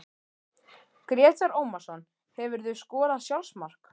Grétar Ómarsson Hefurðu skorað sjálfsmark?